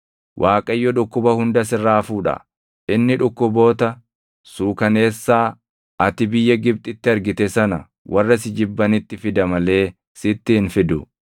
Waaqayyo dhukkuba hunda sirraa fuudha. Inni dhukkuboota suukaneessaa ati biyya Gibxitti argite sana warra si jibbanitti fida malee sitti hin fidu.